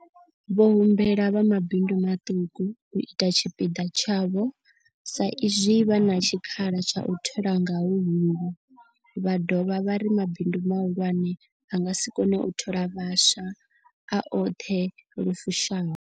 Vho humbela vha mabindu maṱuku u ita tshipiḓa tshavho sa izwi vha na tshikhala tsha u thola nga huhulu, vha dovha vha ri mabindu mahulwane a nga si kone u thola vhaswa a oṱhe lu fushaho.